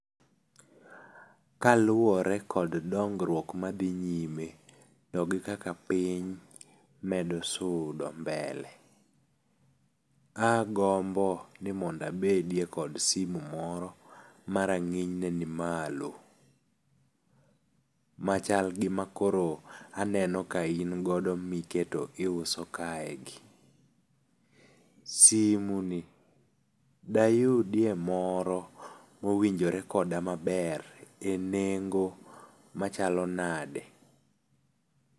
Kaluwore kod dongruok mathi nyime kod kaka piny medo sudo mbele, agombo ni monda abediye kod simu moro ma range'nyne nimalo machalgi makoro aneno ka in godo miketo ka iuso kaeki, simunie dayudie moro ma owinjore koda maber e nengo' machalo nade